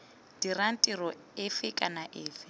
dirang tiro efe kana efe